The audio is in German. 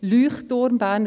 «Leuchtturm BFH».